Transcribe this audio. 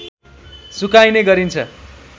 सुकाइने गरिन्छ